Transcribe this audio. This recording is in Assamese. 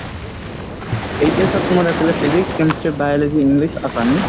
HS ত মোৰ আছিলে physics, chemistry, biology, english, assamese।